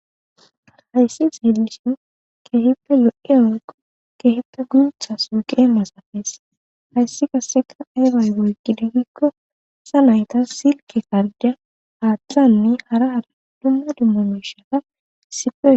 Haysi xellishin kehippe kehippe gutha gema haysi qaseka ayi ayi oqide giko gutha naytas Silke karde qasi hara hara dumma dumma mishata issippe oy.kes